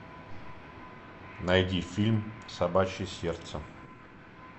найди фильм собачье сердце